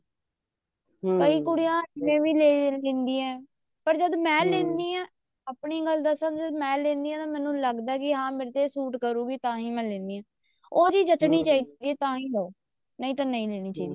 ਕਈ ਕੁੜੀਆਂ ਇਹ ਵੀ ਲੈ ਲੈਂਦੀਆਂ ਪਰ ਜਦ ਮੈਂ ਲੈਂਦੀ ਹਾਂ ਆਪਣੀ ਗੱਲ ਦੱਸਾਂ ਜਦ ਮੈਂ ਲੈਣੀ ਹਾਂ ਮੈਨੂੰ ਲੱਗਦਾ ਵੀ ਹਾਂ ਇਹ ਮੇਰੇ ਤੇ ਸੂਟ ਕਰੂਗੀ ਤਾਂਹੀ ਮੈਂ ਆਹ ਲੈਂਦੀ ਹਾਂ ਉਹ ਚੀਜ਼ ਜਚਨੀ ਚਾਹੀਦੀ ਹੈ ਤਾਂ ਲਓ ਨਹੀਂ ਤਾਂ ਨਾ ਲਓ